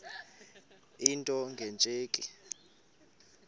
into nge tsheki